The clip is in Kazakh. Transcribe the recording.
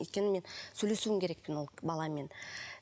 өйткені мен сөйлесуім керек тін ол баламен